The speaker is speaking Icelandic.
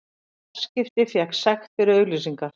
Og fjarskipti fékk sekt fyrir auglýsingar